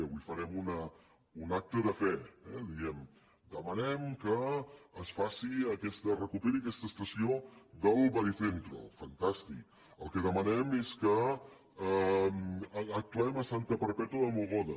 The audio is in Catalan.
avui farem un acte de fe eh diem demanem que es recuperi aquesta estació del baricentro fantàstic el que demanem és que actuem a santa perpètua de mogoda